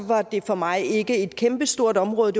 var det for mig ikke et kæmpestort område